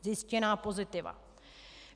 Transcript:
Zjištěná pozitiva.